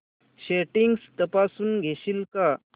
settings तपासून घेशील का